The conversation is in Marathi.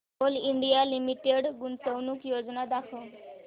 कोल इंडिया लिमिटेड गुंतवणूक योजना दाखव